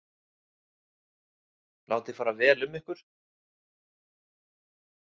Látið fara vel um ykkur.